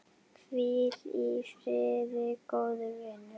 Hvíl í friði, góði vinur.